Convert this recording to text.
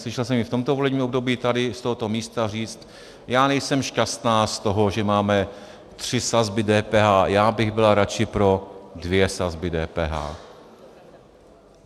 Slyšel jsem ji v tomto volebním období tady z tohoto místa říct: Já nejsem šťastná z toho, že máme tři sazby DPH, já bych byla radši pro dvě sazby DPH.